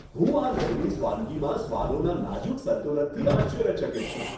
હું આ લેબનીઝ વાનગીમાં સ્વાદોના નાજુક સંતુલનથી આશ્ચર્યચકિત છું.